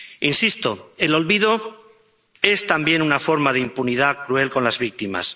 Insisto el olvido es también una forma de impunidad cruel con las víctimas.